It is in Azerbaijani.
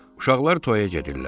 Uşaqlar toyaya gedirlər.